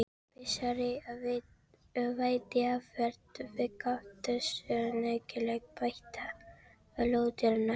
Með þessari veiðiaðferð fékkst oftast nægileg beita á lóðirnar.